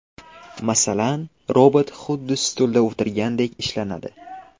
Masalan, robot xuddi stulda o‘tirgandek ishlanadi.